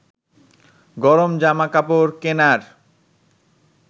গরম জামা কাপড় কেনার